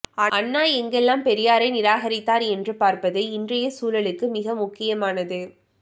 அண்ணா எங்கெல்லாம் பெரியாரை நிராகரித்தார் என்று பார்ப்பது இன்றைய சூழலுக்கு மிக முக்கியமானது